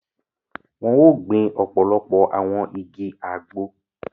Wọn o gbìn ọpọlọpọ awọn ìgi Àgbo